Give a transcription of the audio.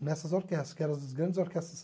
nessas orquestras, que eram as grandes orquestras.